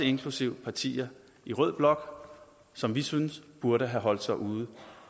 inklusive partier i rød blok som vi synes burde have holdt sig uden